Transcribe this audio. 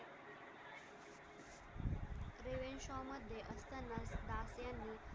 मध्ये असताना यांनी